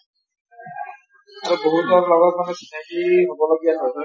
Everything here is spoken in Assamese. আৰু বহুতৰ লগত মানে চিনাকী হব লগীয়া হয়।